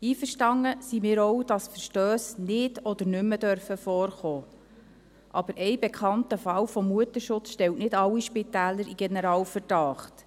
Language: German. Einverstanden sind wir auch, dass Verstösse nicht oder nicht mehr vorkommen dürfen, aber ein bekannter Fall von Mutterschutz stellt nicht alle Spitäler unter Generalverdacht.